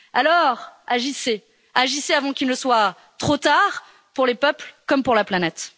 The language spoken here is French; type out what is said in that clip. Alors agissez, agissez avant qu'il ne soit trop tard pour les peuples comme pour la planète!